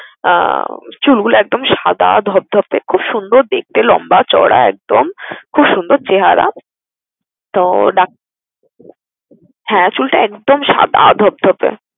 আহ চুলগুলো একদম সাদা ধবধবে, খুব সুন্দর দেখতে, লম্বা চওড়া একদম, খুব সুন্দর চেহারা। তো, ডাক হ্যাঁ চুলটা একদম সাদা ধবধবে।